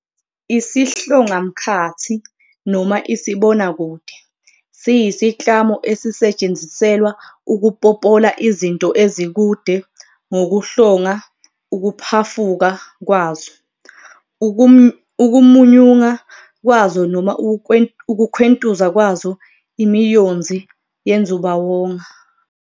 Isihlongamkhathi, noma isibonakude, siyisiklamo esisetshenziselwa ukupopola izinto ezikude ngokuhlonga ukuphafuka kwazo, ukumunyunga kwazo noma ukukhwentuza kwazo imiyonzi yenzubawonga.